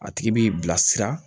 A tigi b'i bilasira